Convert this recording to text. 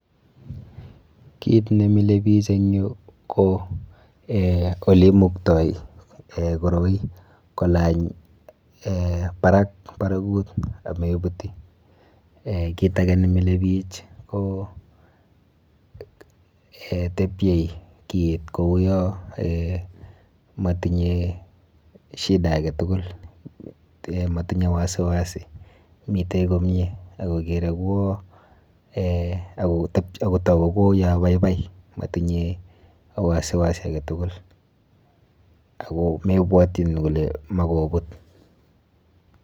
Kit nemile bich eng yu ko eh oleimuktoi eh koroi kolany eh barak barakut amebuti. Kit ake nemile bich ko tebyei kiit kouyo eh motinye shida aketukul motinye wasi wasi mite komie ako kere kuo eh ako toku kouyo baibai motinye wasi wasi aketukul ako mebwatchin kuyo makobut.